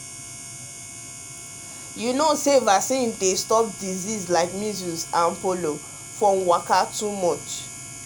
you know say vaccine dey stop disease like measles and polio from waka too much.